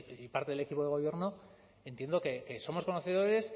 y parte del equipo de gobierno entiendo que somos conocedores